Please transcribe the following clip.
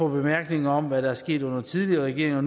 bemærkninger om hvad der er sket under tidligere regeringer og